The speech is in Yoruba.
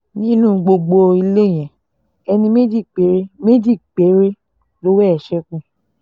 ní gbogbo ilé yẹn ẹni méjì péré méjì péré lọ́wọ́ ẹ̀ ṣekú